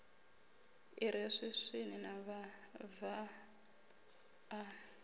i re swiswini mavhava a